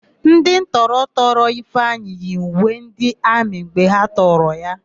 Ndị ntọ tọrọ Ifeanyị yi uwe ndị amị mgbe ha tọrọ ya.